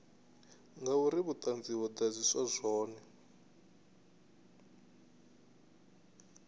ngauri vhuṱanzi ho ḓadziswa zwone